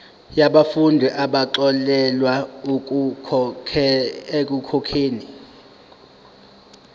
yabafundi abaxolelwa ekukhokheni